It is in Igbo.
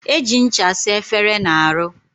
Eji ncha asa efere na aru.